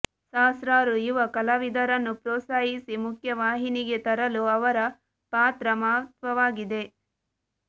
ಸಹಸ್ರಾರು ಯುವ ಕಲಾವಿದರನ್ನು ಪ್ರೋತ್ಸಾಹಿಸಿ ಮುಖ್ಯವಾಹಿನಿಗೆ ತರಲು ಅವರ ಪಾತ್ರ ಮಹತ್ವವಾಗಿದೆ